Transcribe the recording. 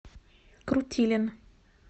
крутилин